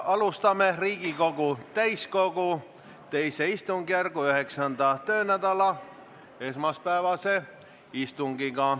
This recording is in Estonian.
Alustame Riigikogu täiskogu teise istungjärgu 9. töönädala esmaspäevast istungit.